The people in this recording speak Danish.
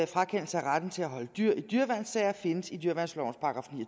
frakendelse af retten til at holde dyr i dyreværnssager findes i dyreværnslovens §